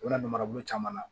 U bɛna marabolo caman na